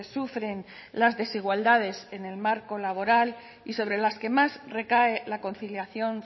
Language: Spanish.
sufren las desigualdades en el marco laboral y sobre las que más recae la conciliación